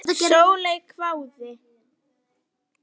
Sóley hváði.